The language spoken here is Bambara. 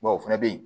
o fɛnɛ bɛ ye